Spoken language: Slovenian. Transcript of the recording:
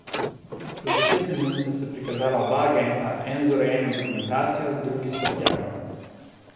Čez deset minut sta se prikazala oba agenta, ena z urejeno dokumentacijo, drugi s prtljago.